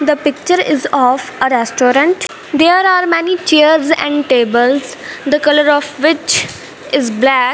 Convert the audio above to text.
the picture is of a restaurant there are many chairs and tables the colour of which is black.